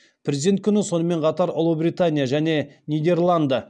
президент күні сонымен қатар ұлыбритания және нидерланды